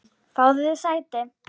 Fáðu þér sæti!